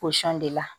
de la